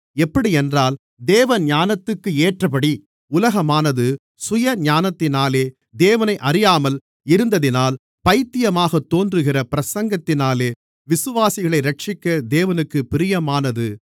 எப்படியென்றால் தேவஞானத்துக்கேற்றபடி உலகமானது சுயஞானத்தினாலே தேவனை அறியாமல் இருந்ததினால் பைத்தியமாகத் தோன்றுகிற பிரசங்கத்தினாலே விசுவாசிகளை இரட்சிக்க தேவனுக்குப் பிரியமானது